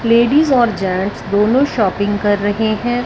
Ladies और gents दोनों shopping कर रहे हैं।